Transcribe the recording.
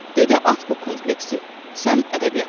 Dedi at bu kompleksi, sən ədəbiyyata lazımsan.